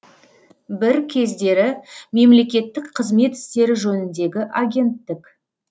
бір кездері мемлекеттік қызмет істері жөніндегі агенттік